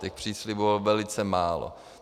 Těch příslibů bylo velice málo.